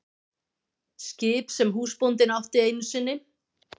Skip sem húsbóndinn átti einu sinni.